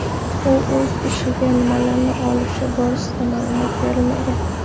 U o‘zi ichiga nimalarni olishi borasida ma’lumot berilmagan.